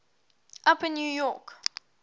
upper new york